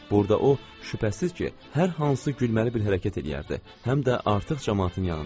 Burda o, şübhəsiz ki, hər hansı gülməli bir hərəkət eləyərdi, həm də artıq camaatın yanında.